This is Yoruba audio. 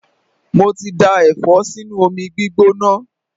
Mo ti da Ẹ̀fọ́ sínú omi gbígbóná.